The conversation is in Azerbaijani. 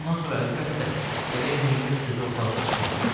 Bundan sonra əlbəttə, gərək Millət sözü ortalığa çıxmasın.